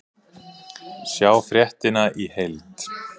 Sjá fréttina í heild